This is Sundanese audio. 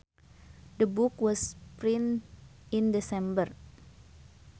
The book was printed in December